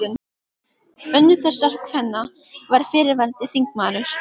Önnur þessara kvenna var fyrrverandi þingmaður.